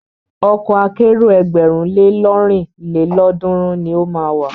Ọkọ̀ akẹ́rò ẹgbẹ̀rún le lọ́rin lélọ́ọ̀dúnrún ni o máa wà.